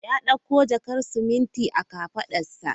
Ya dauko jakar siminti a kafadarsa.